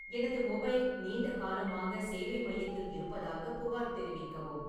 எனது மொபைல் நீண்ட காலமாக சேவை மையத்தில் இருப்பதாக புகார் தெரிவிக்கவும்